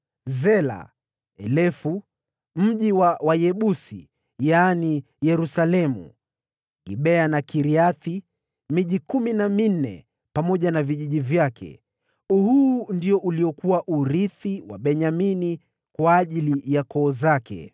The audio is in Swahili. Zela, Elefu, mji wa Wayebusi (yaani Yerusalemu), Gibea na Kiriathi; miji kumi na minne pamoja na vijiji vyake. Huu ndio uliokuwa urithi wa Benyamini kwa ajili ya koo zake.